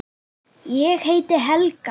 Ég heiti Helga!